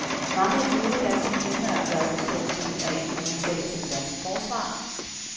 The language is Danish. Mange af de øvrige danske firmaer gør ikke en stor dyd ud af, at de sælger til det danske forsvar.